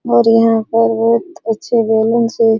और यहां पर बहुत अच्छे बैलून से --